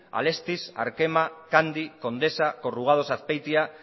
alestis arkema candy condesa corrugados azpeitia